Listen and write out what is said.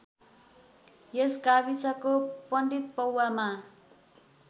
यस गाविसको पण्डितपौवामा